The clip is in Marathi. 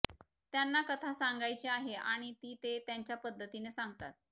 त्यांना कथा सांगायची आहे आणि ती ते त्यांच्या पद्धतीनं सांगतात